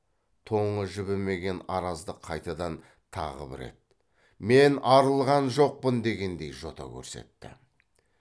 тоңы жібімеген араздық қайтадан тағы бір рет мен арылған жоқпын дегендей жота көрсетті